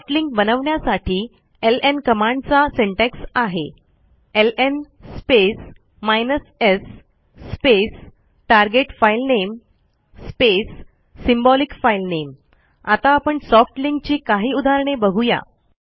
soft link बनवण्यासाठी LN कमांडचा syntax आहे LN space s space target filename space symbolic filename आता आपण सॉफ्ट लिंक ची काही उदाहरणे बघू या